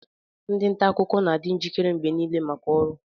ndị nta akụkọ na-adị njikere mgbe niile maka ọrụ